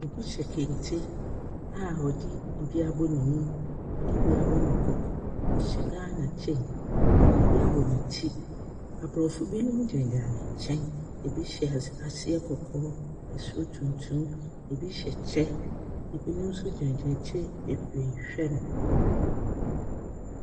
Obi hyɛ kente a ɔde bi abɔ ne mu de bi abɔ ne koko. ɔhyɛ Ghana kyɛ, ɔde bi abɔ ne ti. Aborɔfoɔ binom gyinagyina ne nkyɛn, bi hyɛ ase aseɛ kɔkɔɔ, soro tuntum, bi hyɛ kyɛ, binom nso gyinagyina akyire bebree rehwɛ no.